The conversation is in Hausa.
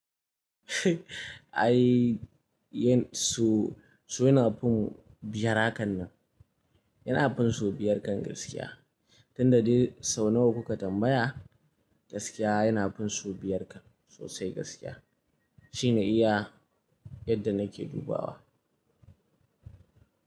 Ai, su yana fin biyar hakan nan. Yana fin so biyar kan gaskiya. Tun da dai sau nawa kuka tambaya, gaskiya yana fin so biyar kan sosai gaskiya. Shine iya yadda nake dubawa.